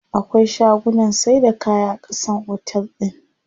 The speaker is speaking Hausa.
Akwai shagunnan saida kaya a ƙasan otel din.